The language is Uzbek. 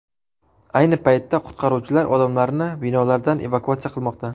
Ayni paytda qutqaruvchilar odamlarni binolardan evakuatsiya qilmoqda.